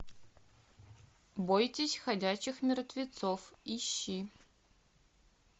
бойтесь ходячих мертвецов ищи